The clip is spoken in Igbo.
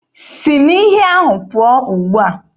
Si na iyi ahụ pụọ ugbua!